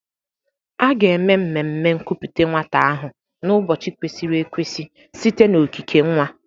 A ga-eme mmemme nkupute nwata ahụ n'ụbọchị kwesịrị ekwesị site na okike nwa.